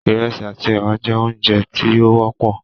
iresi àti ewa jẹ oúnjẹ tí o wọpọ.